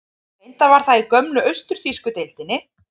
Reyndar var það í gömlu austur-þýsku deildinni.